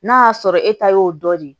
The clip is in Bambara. N'a y'a sɔrɔ e ta y'o dɔ de ye